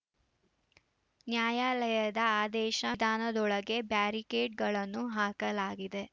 ನ್ಯಾಯಾಲಯದ ಆದೇಶ ದಾನದೊಳಗೆ ಬ್ಯಾರಿಕೇಡ್‌ಗಳನ್ನು ಹಾಕಲಾಗಿದೆ